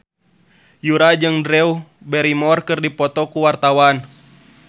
Yura jeung Drew Barrymore keur dipoto ku wartawan